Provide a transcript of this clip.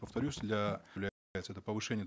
повторюсь для это повышение